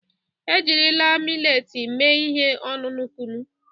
Ejirila mileti mee ihe ọṅụṅụ kunụ.